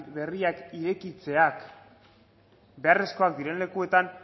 berriak irekitzeak beharrezkoak diren lekuetan